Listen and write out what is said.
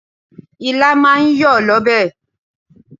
Okro is a draw soup.